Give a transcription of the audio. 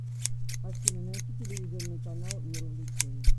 афина найти телевизионный канал мир увлечений